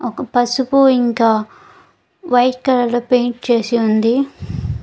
ఒక పసుపు ఇంకా వైట్ కలర్ లో పెయింట్ చేసి ఉంది.